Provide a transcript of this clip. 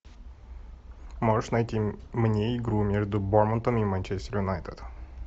можешь найти мне игру между борнмутом и манчестер юнайтед